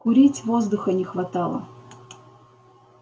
курить воздуха не хватало